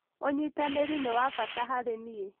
ũnyitanĩri nĩ wa bata harĩ niĩ